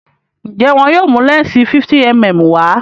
njé wón yóò mú lẹnsi 50mm wá?